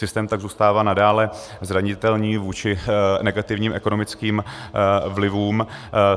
Systém tak zůstává nadále zranitelný vůči negativním ekonomickým vlivům.